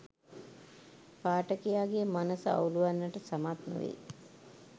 පාඨකයාගේ මනස අවුළුවන්නට සමත් නොවෙයි